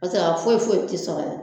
Paseke a foyi foyi tɛ sɔrɔ yan.